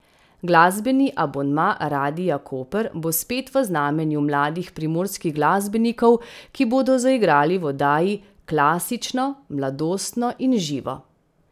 Glasbeni abonma Radia Koper bo spet v znamenju mladih primorskih glasbenikov, ki bodo zaigrali v oddaji Klasično, mladostno in živo.